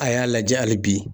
A y'a lajɛ hali bi